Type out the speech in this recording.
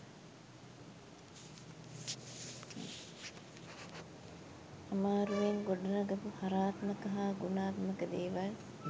අමාරුවෙන් ගොඩනගපු හරාත්මක හා ගුණාත්මක දේවල්